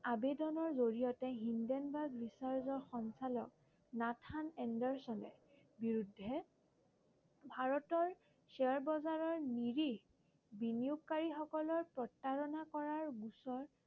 আবেদনৰ জৰিয়তে হিনডেনবাৰ্গ বিচাৰকৰ সঞ্চালক নাথান এণ্ডাৰচনৰ বিৰুদ্ধে ভাৰতৰ শ্বেয়াৰ বজাৰৰ নিৰীহ বিনিয়োগকাৰী সকলক প্ৰতাৰণা কৰাৰ বিষয়ে